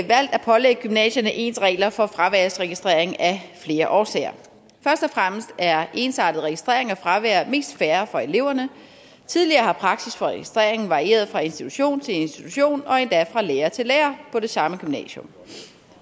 valgt at pålægge gymnasierne ens regler for fraværsregistrering af flere årsager først og fremmest er ensartet registrering af fravær mest fair for eleverne tidligere har praksis for registreringen varieret fra institution til institution og endda fra lærer til lærer på det samme gymnasium